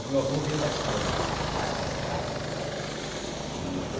O meu avô veio da Espanha, por parte de pai e